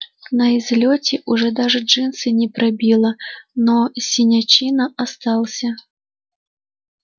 на излёте уже даже джинсы не пробило но синячина остался